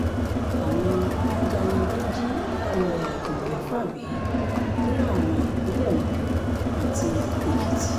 àwọn ajànigbé jí arìnrìn-àjò mẹ́fà gbé ní ààlà ìpínlẹ̀ ondo àti èkìtì